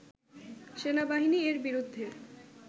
সেনাবাহিনী এর বিরুদ্ধে